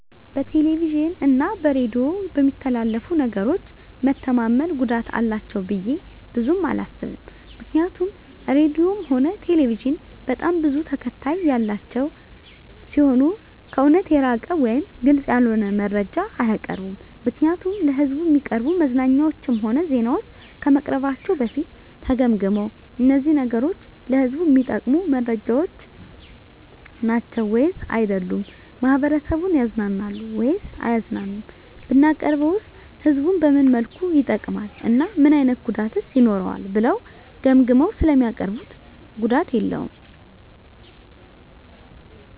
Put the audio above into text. በቴሌቪዥን እና በሬዲዮ በሚተላለፉ ነገሮች መተማመን ጉዳት አላቸው ብዬ ብዙም አላስብም ምክንያቱም ራድዮም ሆነ ቴሌቪዥን በጣም ብዙ ተከታታይ ያላቸው ሲሆኑ ከእውነት የራቀ ወይም ግልፅ ያልሆነ መረጃ አያቀርቡም ምክንያቱም ለሕዝብ እሚቀርቡ መዝናኛዎችም ሆነ ዜናዎች ከመቅረባቸው በፊት ተገምግመው እነዚህ ነገሮች ለህዝቡ እሚጠቅሙ መረጃዎች ናቸው ወይስ አይደሉም፣ ማህበረሰቡን ያዝናናሉ ወይስ አያዝናኑም፣ ብናቀርበውስ ህዝቡን በምን መልኩ ይጠቅማል እና ምን አይነት ጉዳትስ ይኖረዋል ብለው ገምግመው ስለሚያቀርቡት ጉዳት የለውም።